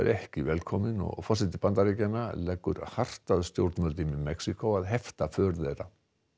ekki velkomin og forseti Bandaríkjanna leggur hart að stjórnvöldum í Mexíkó að hefta för þeirra